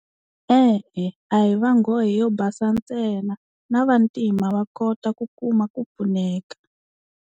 E-e a hi va nghohe yo basa ntsena na vantima va kota ku kuma ku pfuneka.